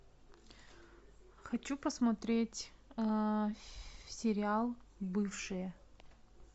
хочу посмотреть сериал бывшие